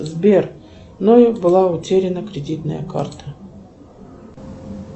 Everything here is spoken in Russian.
сбер мной была утеряна кредитная карта